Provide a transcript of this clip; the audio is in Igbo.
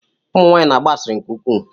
Ụmụ nwanyị na-agba asịrị nke ukwu.